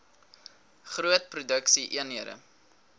groot produksie eenhede